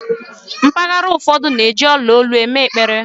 mpaghara ụfọdụ na-eji ola olu eme ekpere